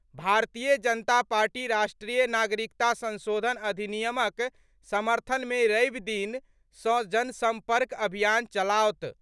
भारतीय जनता पार्टी राष्ट्रीय नागरिकता संशोधन अधिनियमक समर्थन मे रवि दिन सँ जनसम्पर्क अभियान चलाओत।